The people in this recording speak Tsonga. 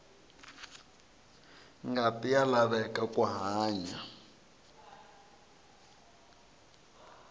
ngati ya laveka ku hanya